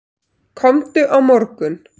Komdu á morgun.